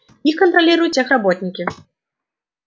их контролируют техработники